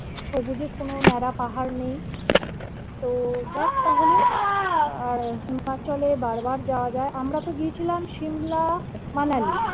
সবুজে কোন ন্যাড়া পাহাড় নেই তো দেখ তাহলে আহ kasol এ বার বার যাওয়া যাই আমরা তো গিয়েছিলাম shimlamanali